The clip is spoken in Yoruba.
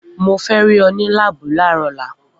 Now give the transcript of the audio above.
Mo fẹ́ rí ọ ní láàbù láàárọ̀ ọ̀la!